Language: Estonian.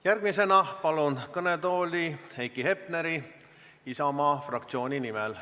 Järgmisena palun kõnetooli Heiki Hepneri Isamaa fraktsiooni nimel.